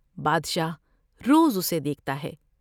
بادشاہ روز اسے دیکھتا ہے ۔